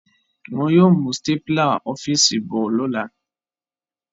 Wọn yóò mú stapler ọ́fíìsì bọ̀ lọ́la